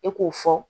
E k'o fɔ